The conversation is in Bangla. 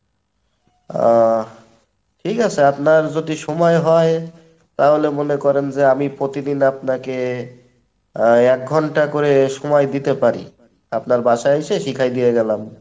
আহ ঠিকাছে আপনার যদি সময় হয় তাহলে মনে করেন যে আমি প্রতিদিন আপনাকে এক ঘন্টা করে সময় দিতে পারি , আপনার বাসায় এসে শিখাইয়া দিয়া গেলাম।